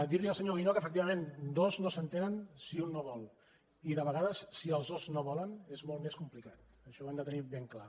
dir li al senyor guinó que efectivament dos no s’entenen si un no vol i de vegades si els dos no volen és molt més complicat això ho hem de tenir ben clar